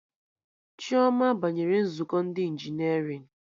Chioma banyere nzukọ ndị injinerịn